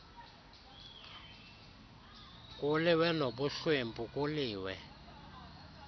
kuliwe nobuhlwempu kuliwe